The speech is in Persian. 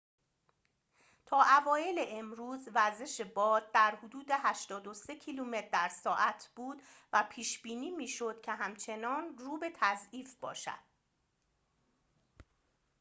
تا اوایل امروز وزش باد در حدود ۸۳ کیلومتر در ساعت بود و پیش بینی می شد که همچنان رو به تضعیف باشد